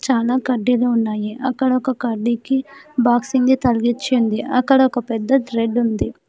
చాలా కడ్డీలు ఉన్నాయి అక్కడ ఒక కడ్డీకి బాక్సింగ్ తగిలించి ఉంది అక్కడ ఒక పెద్ద థ్రెడ్ ఉంది.